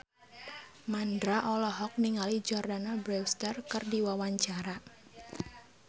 Mandra olohok ningali Jordana Brewster keur diwawancara